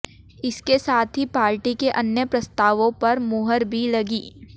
इसके साथ ही पार्टी के अन्य प्रस्तावों पर मुहर भी लगी